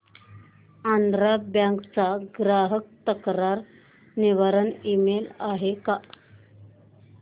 Andhra bank चा ग्राहक तक्रार निवारण ईमेल आहे का